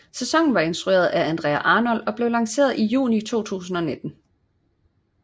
Sæsonen var instrueret af Andrea Arnold og blev lanceret i juni 2019